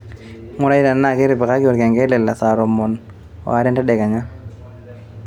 ngurai tenaa ketipikaki olkengele le saa tomon are entedekenya